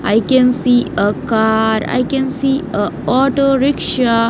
I can see a car I can see a auto rickshaw.